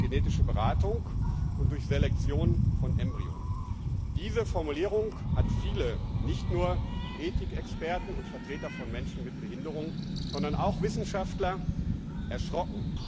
durch genetische Beratung und durch Selektion von Embryonen. Diese Formulierung hat viele nicht nur Ethikexperten und Vertreter von Menschen mit Behinderungen, sondern auch Wissenschaftler erschreckt.